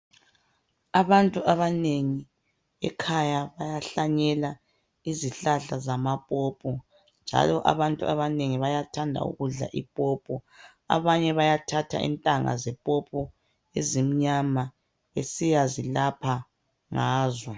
Abantu abanengi ekhaya bayahlanyela izihlahla zamapopo. Njalo abantu abanengi bayathanda ukudla ipopo. Abanye bayathatha intanga ezimnyama besiyzilapha ngazo.